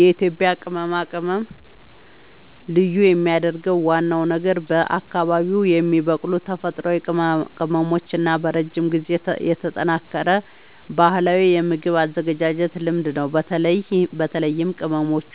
የኢትዮጵያ ቅመማ ቅመም ልዩ የሚያደርገው ዋናው ነገር በአካባቢዉ የሚበቅሉ ተፈጥሯዊ ቅመሞች እና በረጅም ጊዜ የተጠናከረ ባህላዊ የምግብ አዘገጃጀት ልምድ ነው። በተለይም ቅመሞቹ